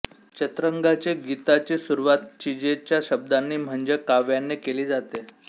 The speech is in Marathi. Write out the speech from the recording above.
चतरंगाची गीताची सुरुवात चिजेच्या शब्दांनी म्हणजे काव्याने केली जाते